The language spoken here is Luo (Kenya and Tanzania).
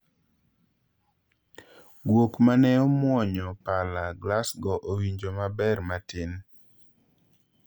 Guok mane omuonyo pala Glasgow owinjo maber matin